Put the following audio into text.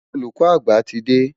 Olùkọ́ àgbà ti dé.